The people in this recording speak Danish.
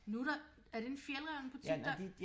Nu der er det en Fjällräven butik der